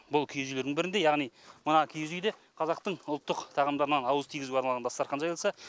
бұл киіз үйлердің бірінде яғни мына үйде қазақтың ұлттық тағамдарынан ауыз тигізуге арналған дастархан жайылса